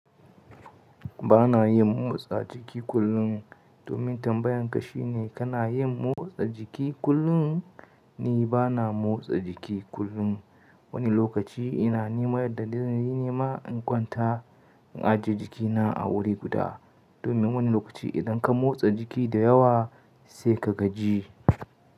Ba na yin motsa jiki kullum domin tambayan ka shine kana yin motsa jiki kullum? Ni ba na motsa jiki kullum. Wani lokaci ina neman yadda dai zan yi nema in kwanta in ajiye jikina a wuri guda domin wani lokaci idan ka motsa jiki da yawa sai ka gaji.